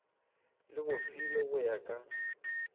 le bofilwe go ya ka